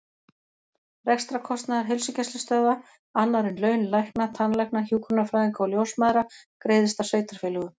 Rekstrarkostnaður heilsugæslustöðva, annar en laun lækna, tannlækna, hjúkrunarfræðinga og ljósmæðra, greiðist af sveitarfélögum.